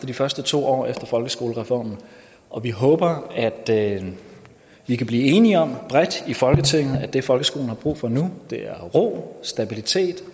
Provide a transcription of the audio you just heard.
de første to år efter folkeskolereformen og vi håber at at vi kan blive enige om bredt i folketinget at det folkeskolen har brug for nu er ro stabilitet